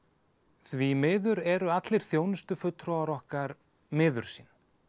því miður eru allir þjónustufulltrúar okkar miður sín